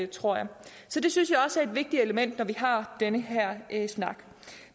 tror jeg så det synes jeg også er et vigtigt element når vi har den her snak